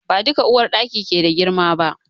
Ba duka uwarɗaki ke da girma ba.